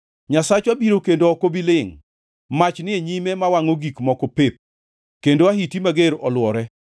Nyasachwa biro kendo ok obi lingʼ mach ni e nyime mawangʼo gik moko pep, kendo ahiti mager olwore.